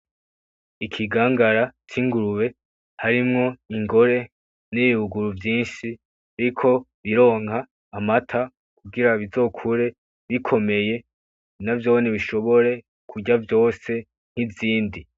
Ikigangara c'ingurube harimwo ingore n'ibibuguru vyinshi biriko bironka amata kugira bizokure bikomeye navyone bishobore kurya vyose nk'izindi.